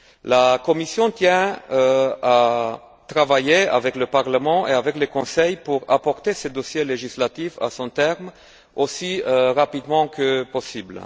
La Commission tient à travailler avec le Parlement et avec le Conseil pour mener ce dossier législatif à son terme aussi rapidement que possible.